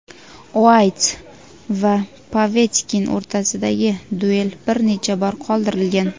Uayt va Povetkin o‘rtasidagi duel bir necha bor qoldirilgan.